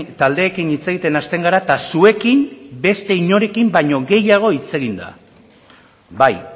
taldeekin hitz egiten hasten gara eta zuekin beste inorekin baino gehiago hitz egin da bai